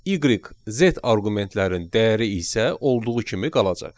Y, Z arqumentlərin dəyəri isə olduğu kimi qalacaq.